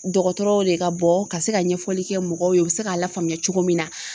Dɔgɔtɔrɔw de ka bɔ ka se ka ɲɛfɔli kɛ mɔgɔw ye u bɛ se k'a lafaamuya cogo min na.